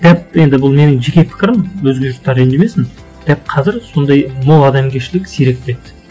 дәп енді бұл менің жеке пікірім өзге жұрттар ренжімесін дәп қазір сондай мол адамгершілік сиреп кетті